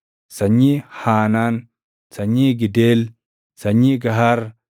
sanyii Haanaan, sanyii Gideel, sanyii Gahar,